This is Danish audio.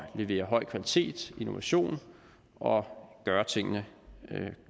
levere høj kvalitet innovation og at gøre tingene